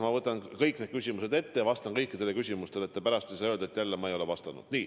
Ma võtan kõik need küsimused ette ja vastan kõikidele, et te pärast ei saa öelda, et jälle ma ei ole vastanud.